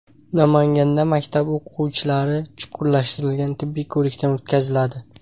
Namanganda maktab o‘quvchilari chuqurlashtirilgan tibbiy ko‘rikdan o‘tkaziladi.